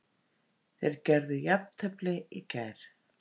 Þeir gerðu jafntefli í gær